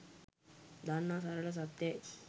දන්නා සරල සත්‍යයි